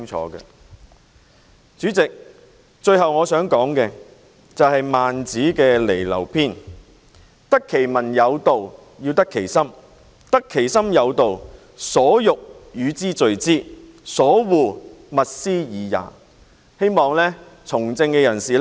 代理主席，最後我想引述孟子《離婁》篇："得其民有道：得其心，斯得民矣；得其心有道：所欲與之聚之，所惡勿施爾也"，希望從政人士能夠緊記這一點。